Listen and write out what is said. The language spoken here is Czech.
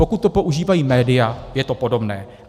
Pokud to používají média, je to podobné.